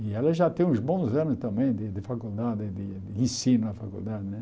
E ela já tem uns bons anos também de de faculdade, de de ensino na faculdade né.